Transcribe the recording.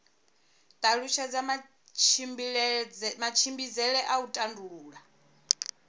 talutshedza matshimbidzele a u tandulula